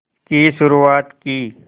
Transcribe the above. की शुरुआत की